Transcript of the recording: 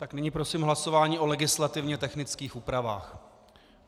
Tak nyní prosím hlasování o legislativně technických úpravách.